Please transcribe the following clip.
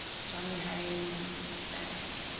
johnny haynes stand